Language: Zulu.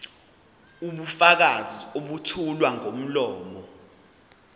ubufakazi obethulwa ngomlomo